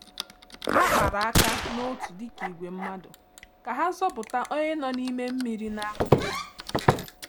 Ha kpara aka n’otu dịka ìgwè mmadụ ka ha zọpụta onye nọ n’ime mmiri na-arị elu.